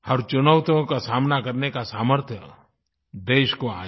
हर चुनौतियों का सामना करने का सामर्थ्य देश को आए